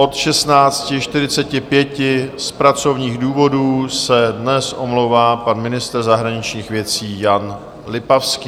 Od 16.45 z pracovních důvodů se dnes omlouvá pan ministr zahraničních věcí Jan Lipavský.